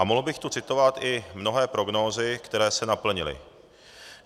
A mohl bych tu citovat i mnohé prognózy, které se naplnily.